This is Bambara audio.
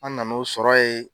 An nana o sɔrɔ yen.